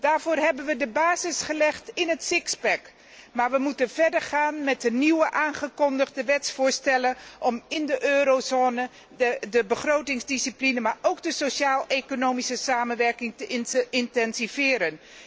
Daarvoor hebben we de basis gelegd in het sixpack maar we moeten verder gaan met de nieuw aangekondigde wetsvoorstellen om in de eurozone de begrotingsdiscipline, maar ook de sociaal economische samenwerking te intensiveren.